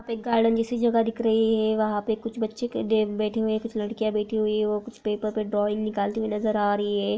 वहा पे (पर) गार्डन जैसी जगह दिख रही है| वहा पे (पर) कुछ बच्चे गद्दे पर बैठे हुए है| कुछ लड़कियां बैठी हुई है ओ कुछ पेपर पे ड्रॉइंग निकालती हुई नजर आ रही है।